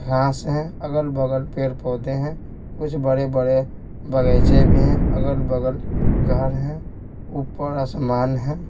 घास हैं अगल-बगल पेड़-पौधे हैं कुछ बड़े-बड़े बगैचे भी हैं अगल-बगल घर हैं ऊपर आसमान है।